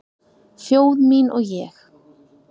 Þjóð mín og ég